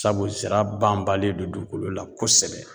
Sabu zira banbalen do dugukolo la kosɛbɛ.